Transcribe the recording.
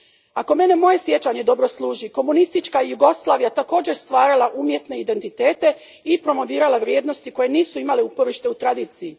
Ako mene moje sjećanje dobro služi, komunistička je Jugoslavija također stvarala umjetne identitete i promovirala vrijednosti koje nisu imale uporište u tradiciji.